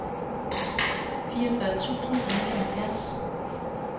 fireogfyrre tusind og nioghalvfjerds